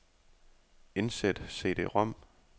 Indsæt cd-rom.